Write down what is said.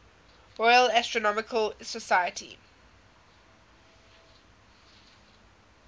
royal astronomical society